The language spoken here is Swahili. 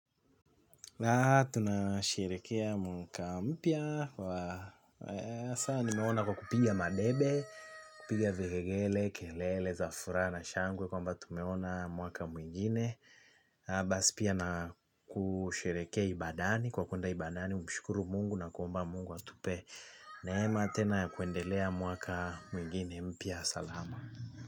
Na tunasherehekea mwaka mpya kwa hasa nimeona kwa kupiga madebe kupiga vigelegele, kelele, za furaha na shangwe kwamba tumeona mwaka mwingine basi pia na kusherehekea ibadani kwa kuenda ibadani, kumshukuru Mungu na kuomba Mungu atupe neema tena ya kuendelea mwaka mwingine mpya salama.